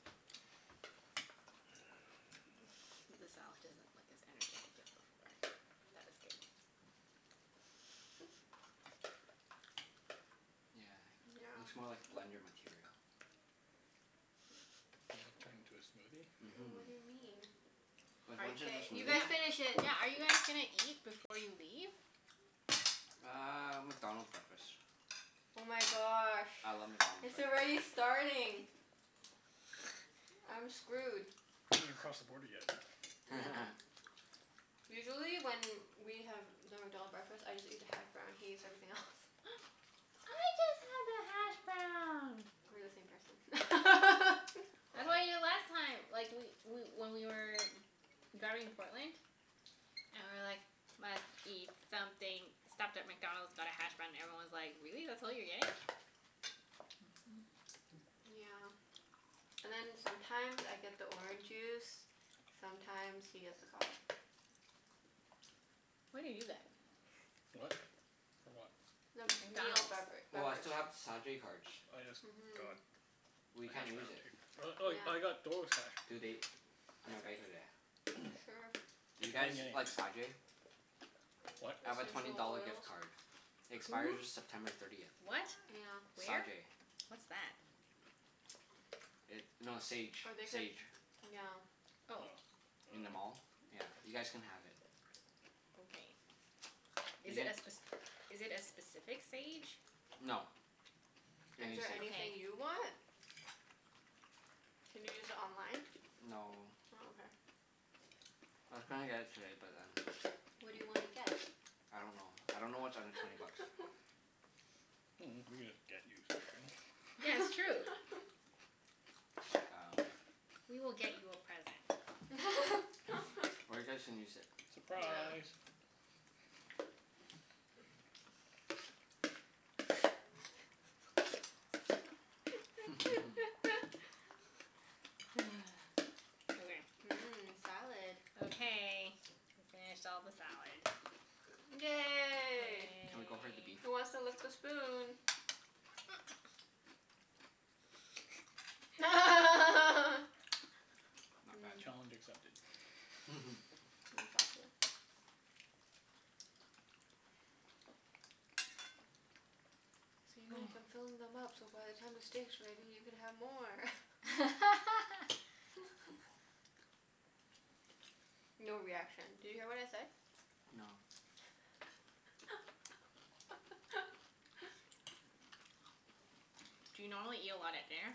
The salad doesn't look as energetic as before. That was good. Yeah, Yeah. looks more like blender material. You gonna turn it into Mhm. And what a do you mean? smoothie? Cuz Are once it's y- K, a you guys smoothie finish yeah, it. yeah, are you guys gonna eat before you leave? Uh, McDonald's breakfast. Oh my gosh. I love McDonald's It's already breakfasts. starting. I'm screwed. You haven't even crossed the border yet. Yeah. Usually when we have the McDonald breakfast, I just eat the hash brown. He eats everything else. I just have the hashbrown. We're the same person. I had them the last time like, we we when we were driving to Portland. And we were like, "Must eat something." Stopped at McDonald's, got a hash brown, and everyone was like, "Really? That's all you're getting?" Yeah. And then sometimes I get the orange juice. Mhm. Sometimes he gets the coffee. What do you get? What? For what? The meal McDonald's. bevera- Oh, I beverage. still have the Sa-jay cards. Oh yes, Mhm. god. We A can't hash use brown it. too. Oh oh, I Yeah. got hash Do they browns. That's right. Sure. Do you get guys anything. like Sa-jay? What? I have a twenty Essential dollar oils. gift card. It expires Who? September thirtieth. What? Yeah. Where? Sa-jay. What's that? It, no, Sage. Or they could, Sage. yeah. Oh. Oh. I In the dunno. mall. Yeah, you guys can have it. Okay. You Is it a get spec- is it a specific Sage? no, any Is there Sage. anything you want? Can you use it online? No. Oh, I was gonna get it today, but then okay. What do you wanna Okay. get? I don't know. I don't know what's under twenty bucks. Mm, we could just get you something. Yeah, it's true. That's like um We will get you a present. Or you guys can use it. Yeah. Surprise! Okay. Mmm, salad. Okay. We finished all the salad. Yay. Can we go for the beef? Yay. Who wants to lick the spoon? Not bad. Challenge accepted. Mmm. Exactly. See Mike? I'm filling them up so by the time the steak's ready you can have more. No reaction. Did you hear what I said? No. Do you normally eat a lot at dinner?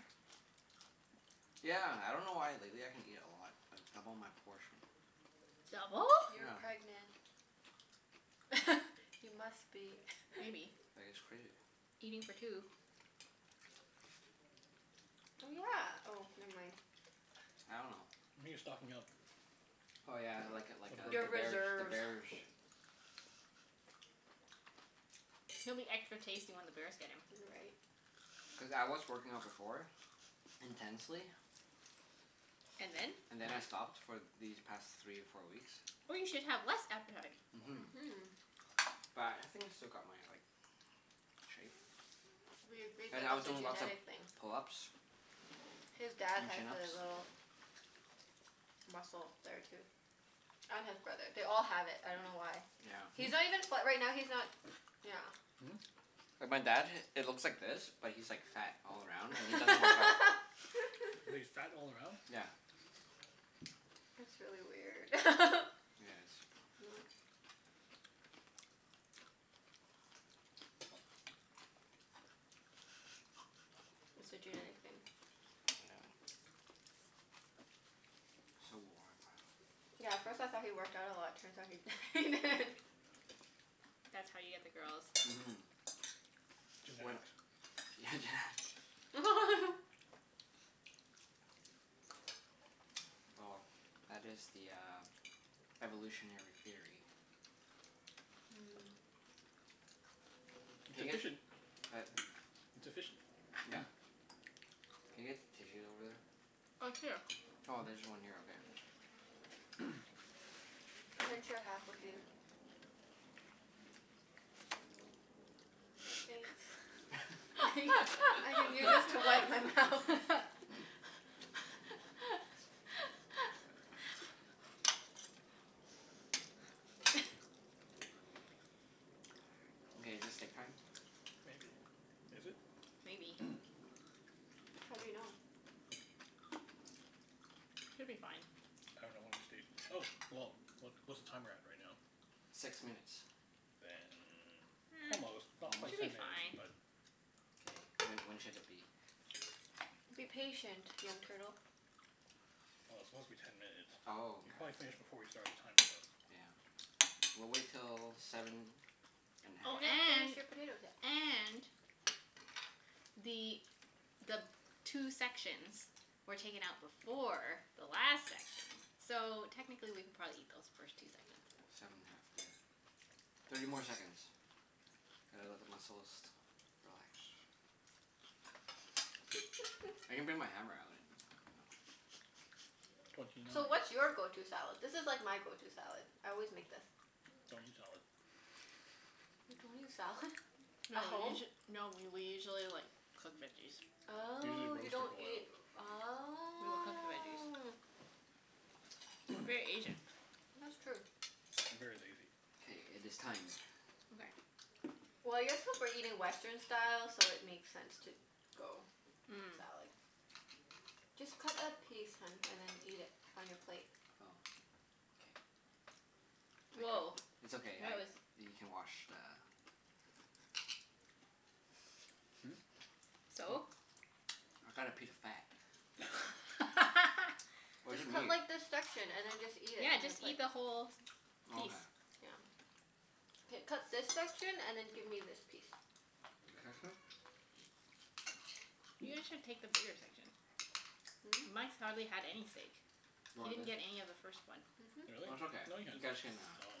Yeah. I dunno why but lately I can eat a lot. I double my portion. Double? You're pregnant. Yeah. You must be. Maybe. I guess. Crazy. Eating for two. Oh, yeah. Oh, never mind. I dunno. Maybe you're stocking up? Oh yeah, like a like For a, the Your the birth bears. The reserves. bears. He'll be extra tasty when the bears get him. You're right. Cuz I was working out before. Intensely. And then? And then I stopped for these past three or four weeks. Oh, you should have less appetite. Mhm. But I think I still got my like, shape. Mhm. We agreed But that I was that's a doing lots of genetic thing. pull-ups His dad and has chin-ups. the little Hmm? muscle there too. And his brother. They all have it. I dunno why. Yeah. He's not even fa- right now, he's not Yeah. Hmm? And my dad, it looks like this but he's like fat all around and he doesn't work out. He's fat all around? Yeah. It's really weird. Yeah, it Not is. It's a genetic thing. Yeah. So warm. Yeah, at first I thought he worked out a lot. Turns out he he didn't. That's how you get the girls. Mhm. When, yeah, genetics. Genetics. Well, that is the uh, evolutionary theory. Mm. It's Can I get, efficient. uh, It's efficient. yeah, can I get tissues over Oh, here. there? Oh, there's one here. Okay. Hmm? I can share half with you. Thanks. I can use this to wipe my mouth. Okay, is it steak time? Maybe. Is it? Maybe. How do you know? Should be fine. I dunno when we stayed, oh, well, what what's the timer at right now? Six minutes. Then almost, not Almost? Should quite be ten minutes, fine. but Well, K, when when should it be? Be patient, young turtle. it's supposed to be ten minutes. Oh, You probably finished before we started the timer okay. though. Yeah. We'll wait till seven and a Oh You half. didn't and finish your potatoes yet. and the the two sections were taken out before the last section. So, technically we could probably eat those first two sections. Seven and a half, yeah. Thirty more seconds. Gotta let the muscles relax. Twenty I can nine. bring my hammer out and you know So, what's your go- to Don't salad? This is like my go- to salad. I always eat make this. salad. You don't eat salad? No At we home? usu- no we we usually like cook veggies. Usually Oh, you roast or don't boil. eat, We will cook the veggies. oh We're very Asian. That's true. I'm very lazy. K, it is time. Okay. Well, I guess cuz we're eating Western style, so it makes sense to go salad. Just cut a piece, hun, Mm. and then eat it on your plate. Oh. K. I cut, Woah, it's that okay. I, was you can wash the Hmm? What? So? I got a piece of fat. Where's Just the cut meat? like this section, and then just eat it Yeah, on your just plate. eat the whole Okay. piece. Yeah. K, cut this section and then give me this piece. This section? You guys should take the bigger section. Really? Hmm? Mike's hardly had any steak. You He want didn't this? get any of the first one. That's okay. No, he You had guys some. I can uh dunno.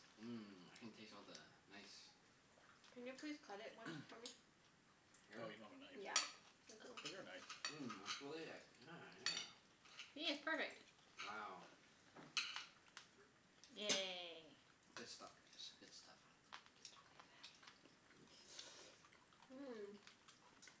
Mmm. I can taste all the nice Can you please cut it once for me? Here? Oh, you don't have a knife. Yeah. Thank you. Get her a knife. Mmm, it's really like, yeah, yeah. See? It's perfect. Wow. Yay. Good stuff guys. Good stuff. It's really fatty. Mmm.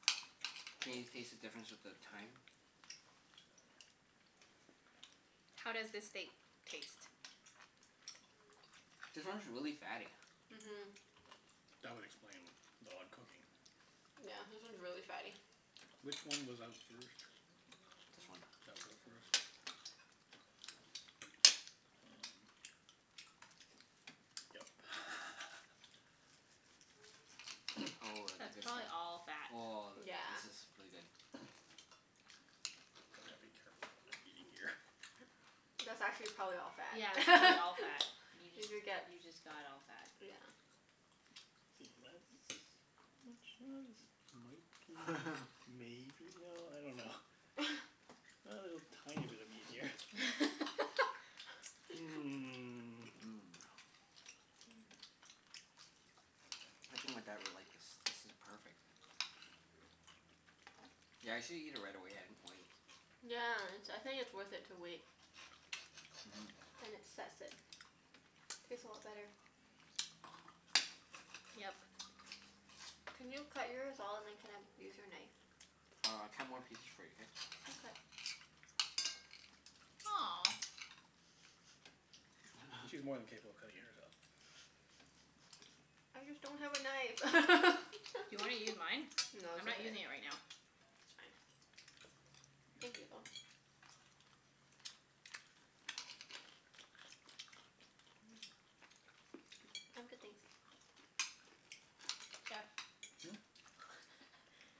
Can you taste the difference with the thyme? How does this steak taste? This one's really fatty. Mhm. That would explain the odd cooking. Yeah, this one's really fatty. Which one was out first? This one. That was out first? Um, yep. Oh, of the That's good probably stuff. all fat. Oh, Yeah. this is really good. Gonna have to be careful of what I'm eating here. That's actually probably all Yeah, that's probably fat. all fat. You Did just, you get, you just got all fat. yeah. See, that's pretty much, ah this might be, maybe, no, I dunno. A little tiny bit of meat here. Mmm. Mmm. Mm. I think my dad would like this. This is perfect. Yeah, I usually eat it right away. I didn't wait. Yeah, it's, I think it's worth it to wait. Mhm. Then it sets it. Tastes a lot better. Yep. Can you cut yours all and then can I use your knife? Oh, I'll cut more pieces for you, k? Aw. She's more than capable of cutting it herself. Okay. I just don't have a knife. Do you wanna use mine? No, I'm it's not okay. using it It's right now. fine. Thank you, though. Mmm. Hmm? I'm good, thanks. Jeff.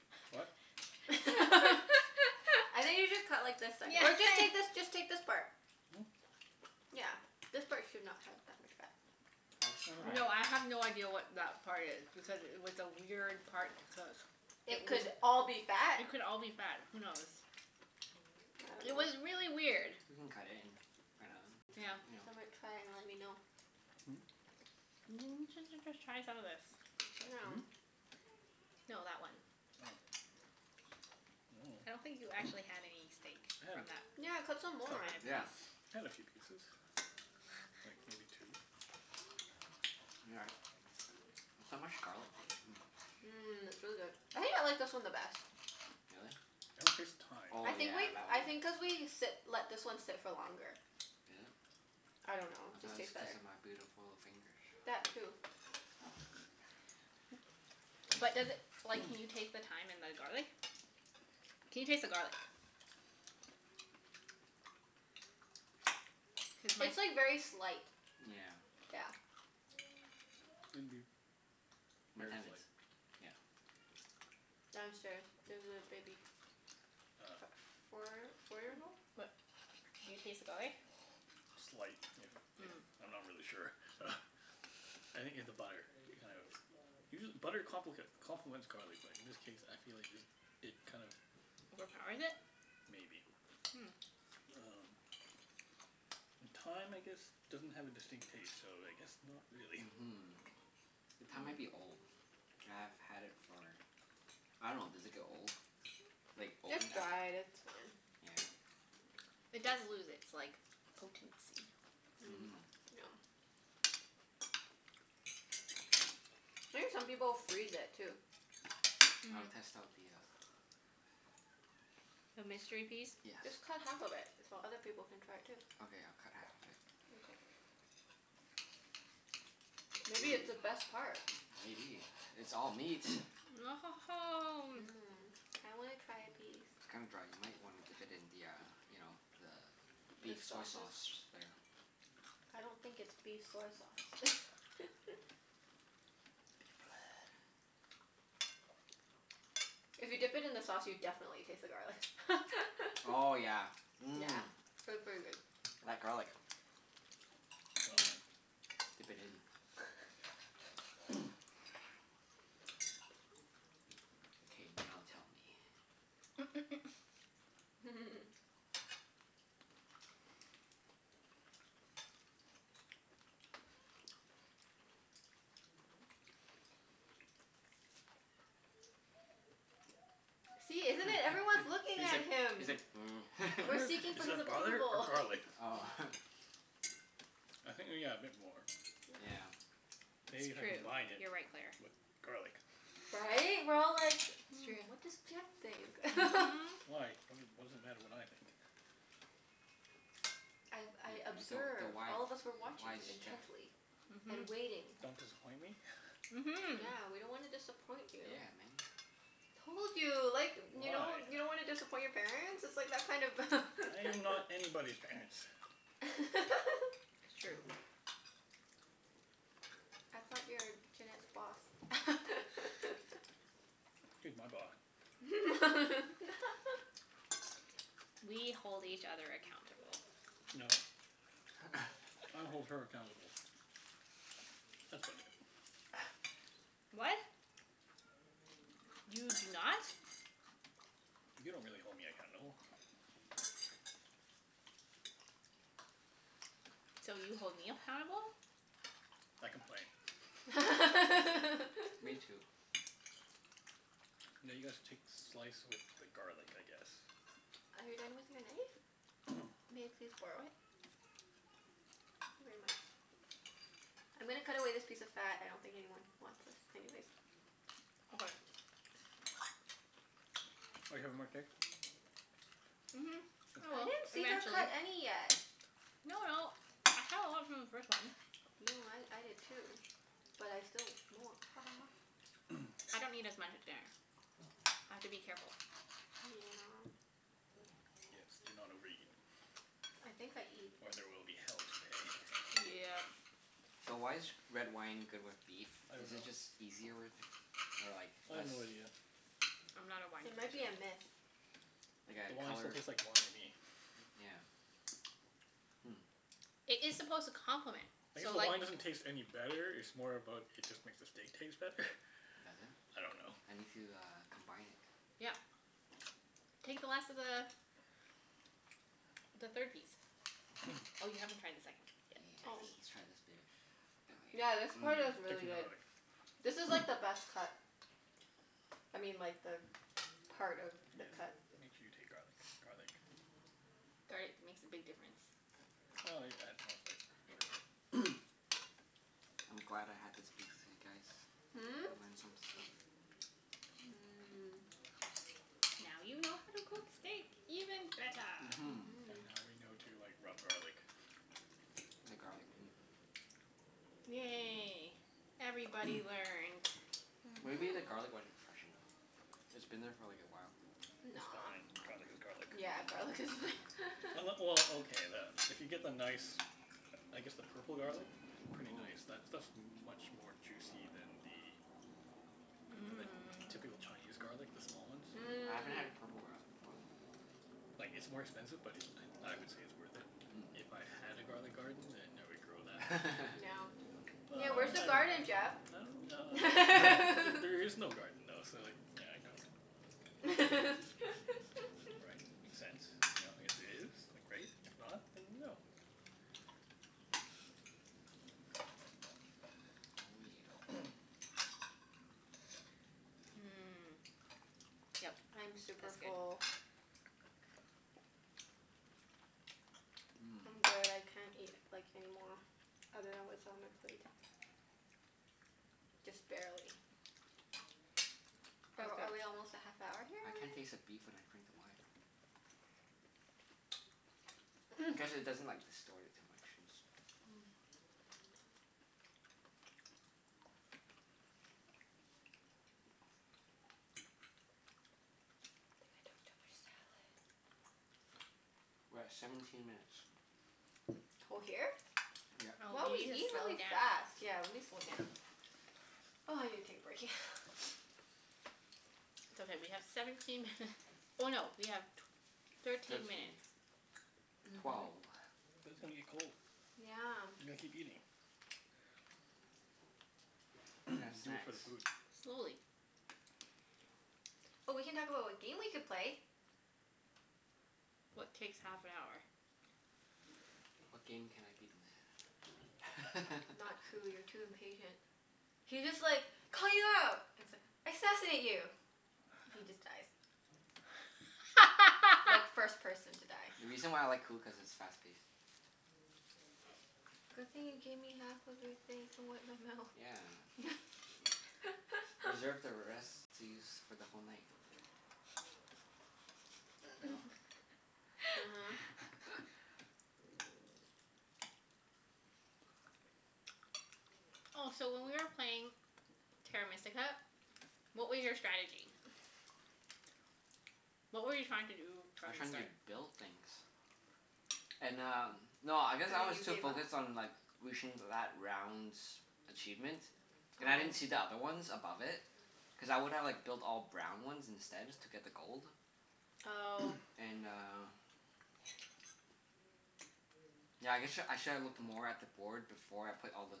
I What? think you should cut like the se- or just take this, just take this part. Yeah. Yeah. This part should not have that much fat. Nice try. No, I have no idea what that part is. Because it was a weird part to cook. Hmm? It It would could all be fat. It could all be I fat. Who knows? It was really weird. We can cut it and find Yeah. out dunno. Some might Hmm? try and let me know. N- j- j- just try some of the, this. you know Hmm? Now. No, that one. Oh. I I dunno. don't think you actually had any steak I had a from that. coup- Yeah, cut some more. piece. Yeah. I had a few pieces. Like maybe two. We got it. There's so much garlic taste. Hmm. Mmm, it's really Really? good. I think I like this one the best. I don't taste the thyme. Oh I think yeah, like, that I one. Is it? I think cuz thought it we sit, let this one sit for longer. I don't know. Just tastes was cuz better. of my beautiful fingers. That too. But does it, like, can you taste the thyme and the garlic? Can you taste the garlic? Cuz mine It'd It's like very slight. Yeah. Yeah. be My very tenants, slight. yeah. Downstairs. There's a baby. Ah. F- four four years old? But do you taste the garlic? Slight, if if, Mm. I'm not really sure. I think it's the butter, it kind of, usual- butter complic- complements garlic but in this case I feel like just, it kind of Overpowers it? Maybe. Um And thyme I guess doesn't have a distinct taste, so I guess not Hmm. really. Mhm. The thyme might be old. I've had it for, I dunno, does it get old? Mm. Like, It's open after dried. It's fine. It does Yeah. lose its like, potency. Mm, yeah. Mhm. I think some people freeze it, too. I will Mhm. test out the uh, The mystery piece? yes. Just cut half of it so other people can try it too. Okay, I'll cut half of it. Mkay. Ooh, Maybe it's the best part? maybe. It's all meat. Mmm. I wanna try a piece. It's kinda dry. You might wanna dip it in the uh, you know, the The beef soy sauces? sauce there. I don't think it's beef Beef soy sauce. blood. If you dip it in the sauce, you definitely taste the garlic. Oh yeah, Yeah. mmm. P- pretty good. Mhm. That garlic. Well then. Dip it in. K, now tell me. See, He's isn't it? Everyone's looking like, at he's him. like, mm. We're Butter? seeking for Is his that butter or approval. garlic? Oh. I think yeah, a bit more. Yeah. Maybe if It's I true. combined it You're right, Claire. with garlic. Right? We're all like, It's Yeah. "Hmm, what does true. Jeff think?" Mhm. Why? What d- what does it matter what I think? I've, I You're the the observe, wife all of us were watching wise you chef. intently. And Mhm. waiting. Don't disappoint me? Mhm. Yeah. We don't wanna disappoint you. Told you. Like, you know? You Why? don't wanna disappoint your parents? It's like that kind of Yeah, I am not anybody's parents. It's true. man. I thought you were Junette's boss? She's my boss. We hold each other accountable. No. I hold her accountable. That's about it. What? You do not. You don't really hold me accountable. So, you hold me appountable? I complain. Are Now Me too. you guys take slice with the garlic, I guess? you done with your knife? May I please borrow it? Thank you very much. I'm gonna cut away this piece of fat. I don't think anyone wants this anyways. Okay. Are you having more steak? Mhm, I I will. didn't see her Eventually. cut any yet. No no, I had a lot from the first one. No, I I did too. But I still mwan- ha ha ha. I don't eat as much at dinner. I have to be careful. Yeah. Yes, do not overeat. I think I eat Or there will be hell to pay. Yep. So, why is g- red wine good with beef? I don't Is it know. just easier, or like, I have less no idea. I'm not a wine It might be person. a myth. Like The a wine still color, tastes like wine to me. yeah. It is supposed to complement. I guess So the like wine doesn't taste any Hmm. better. It's more about, it just makes the steak taste better. Does it? I don't know. I need to uh, combine it. Yeah. Take the last of the the third piece. Oh, you haven't tried the second yet. Yeah, I Oh. see. let's let's try this baby. Yeah, Yummy. this Mmm. part is Take some really good. garlic. This is like the best cut. I mean, like the part of the Yes. cut. Make sure you take garlic. Garlic. Garlic makes a big difference. Well, yeah, it adds more flavor for sure. I'm glad I had this beef with you guys. Hmm? Mmm. I learned some stuff. Now you know how to cook steak even better. And now we know to Mhm. like, rub garlic. The garlic. Mm. Yay. Everybody learned. Mhm. Maybe the garlic wasn't fresh enough? It's been there for like a while. It's Nah. fine. Garlic is garlic. Yeah, garlic is Unle- well, okay, the, if you get the nice I guess the purple garlic. Pretty nice. That stuff's much more juicy than the than the typical Mmm. Chinese garlic. The small ones. Ooh. I haven't had Mm. a purple garlic before. Like, it's more expensive but it, I I would say it's worth it. If I had a garlic garden then I would grow that. No. Yeah, But where's the Mm. I Mmm. garden, dunno. Jeff? I don't ah, there is no garden though, so, yeah, I don't. Right? Makes sense. You know? If there is, then great. If not, then no. Oh Mmm. Yep. I'm super That's good. full. yeah. I'm good. I can't eat, like, any more. Other than what's on my plate. Just Mmm. barely. Are That's good. are we almost at half hour here I can't already? taste the beef when I drink the wine I guess it doesn't like, distort it too much since Mm. I think I took too much salad. We're at seventeen minutes. Co- here? Yep. Wow, Oh, we we need eat to slow really fast. down. Yeah, let me slow down. Oh, I need to take a break, yeah. It's okay, we have seventeen minut- oh no, we have tw- thirteen Thirteen. minutes. Mhm. Twelve. But it's gonna get cold. You Yeah. gotta keep eating. Can have Do it snacks. for the food. Slowly. Oh, we can talk about what game we could play. What takes half an hour? What game can I beat them at? Not Coup. You're too impatient. He just like it's like, assassinate you! He just dies. Like, first person to die. The reason why I like Coup, cuz it's fast paced. Good thing you gave me half of your thing to wipe my mouth. Yeah. Reserve the rest to use for the whole night. No? Oh, so when we were playing Terra Mystica, what were your strategy? uh-huh. What were you trying to do I from was the trying to start? build things. And um, no, I guess And I then was you too gave up? focused on like reaching that round's achievement. And I didn't Oh. see the other ones above it. Cuz I would've like built all brown ones instead, just to get the gold. Oh. And uh yeah I guess sh- I should have looked more at the board before I put all the